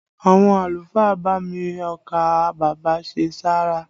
Àwọn àlùfáà bá mi ọkà bàbà ṣe sàárà